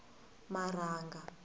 marhanga